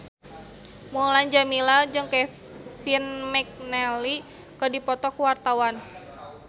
Mulan Jameela jeung Kevin McNally keur dipoto ku wartawan